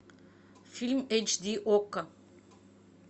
фильм эйч ди окко